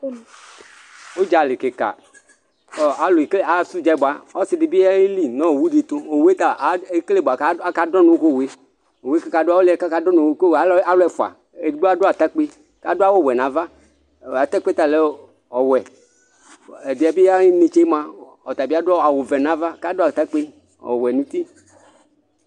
ũdzalï kïka kɔ alũeke asũdze bua ɔssidibï yeli nɔ